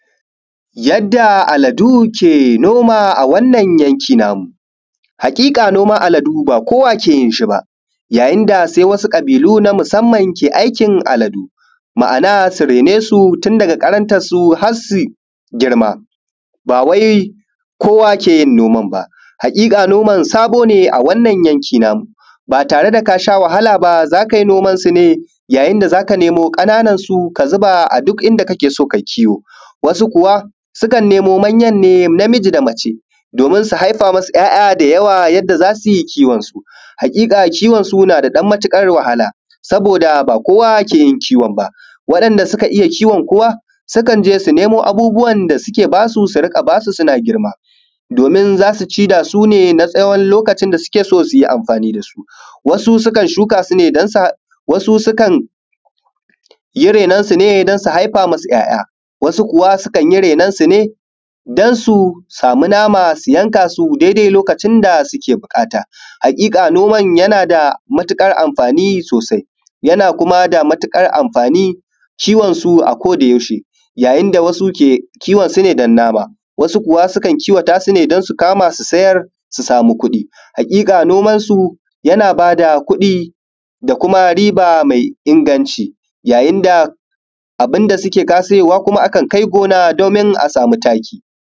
yadda al’adu ke noma wannan yanki namu haƙiƙa noman al’adu ba kowa ke yin shi ba yayin da sai wasu ƙabiluna musamman ke noman al’adu ma’ana su raine su tun daga ƙarantansu har su girma ba wai kowa ke yin noman ba haƙiƙa noman sabo ne a wannan yanki namu ba tare da ka sha wahala ba za kai nomansu ne yayin da za ka nemo ƙananansu ka zuba a duk inda kake so kai kiwo wasu kuwa sukan nemo manyanne namiji da mace domin su haifa ma su ‘ya’ya da yawa yanda za su yi kiwonsu haƙiƙa kiwonsu yana da ɗan matuƙar wahala saboda ba kowa ke yin kiwon ba wa’inda suka iya kiwon kuma sukan je su nemo abubuwan da suke ba su su riƙa ba su suna girma domin za su ci da su ne na tsawon lokacin da suke so su yi amfani da su wasu sukan yi rainon su ne su haifa ma su ‘ya’ya wasu kuwa sukan yi rainonsu ne don su samu nama su yanka su lokacin da suke buƙata haƙiƙa noman yana da matuƙar amfani sosai yana kuma da matuƙar amfani kiwonsu a koda yaushe yayin da wasu ke kiwonsu ne don nama wasu kuwa kan kiwata su ne don su kama su sayar su samu kuɗi haƙiƙa noman su yana ba da kuɗi da kuma riba mai inganci yayin da abun da suke ka siyowa akan kai gona domin a samu taki